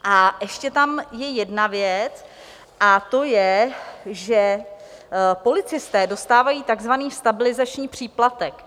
A ještě tam je jedna věc, a to je, že policisté dostávají takzvaný stabilizační příplatek.